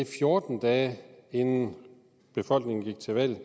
fjorten dage inden befolkningen gik til valg